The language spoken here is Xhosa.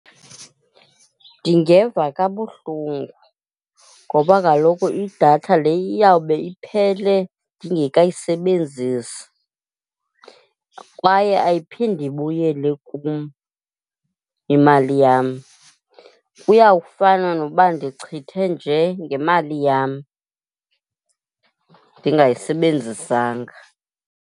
Ndingeva kabuhlungu ngoba kaloku idatha le iyawube iphele ndingekayisebenzisi kwaye ayiphindi ibuyele kum imali yam. Kuyawufana noba ndichithe nje ngemali yam ndingayisebenzisanga.